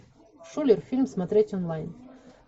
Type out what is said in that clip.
шулер фильм смотреть онлайн